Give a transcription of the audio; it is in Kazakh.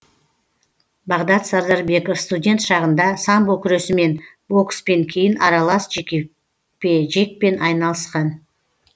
бағдат сардарбеков студент шағында самбо күресімен бокспен кейін аралас жекпе жекпен айналысқан